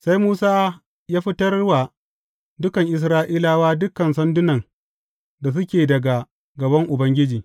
Sai Musa ya fitar wa dukan Isra’ilawa dukan sandunan da suke daga gaban Ubangiji.